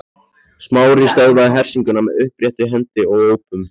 Smári stöðvaði hersinguna með uppréttri hendi og ópum.